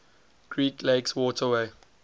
great lakes waterway